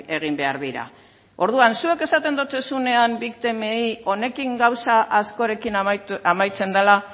egin behar dira orduan zuek esaten duzuenean biktimei honekin gauza askorekin amaitzen dela